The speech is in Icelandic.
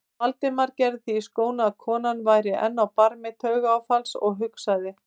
Valdimar gerði því skóna að konan væri enn á barmi taugaáfalls og hugsaði